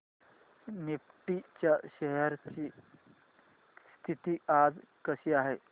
Nifty च्या shares ची स्थिती आज कशी आहे